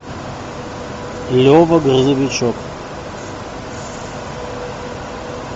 лева грузовичок